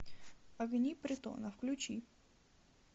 огни притона включи